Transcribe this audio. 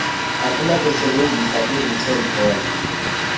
akunakuyisebenzisa iretail bond